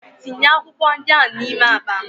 Tinye akwụkwọ ndị ahụ n'ime akpa m!